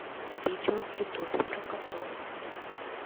видео в ютубе про котов